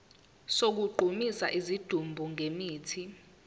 sokugqumisa isidumbu ngemithi